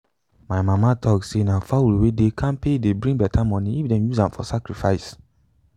my mama tok say na fowl wey dey kampe dey bring beta money if them use am for sacrifice.